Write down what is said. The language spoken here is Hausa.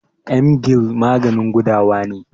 Emgyl maganin gudawa ne.